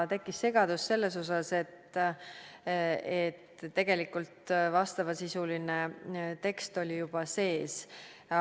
Tekkis segadus selles osas, et tegelikult vastavasisuline tekst oli juba sees.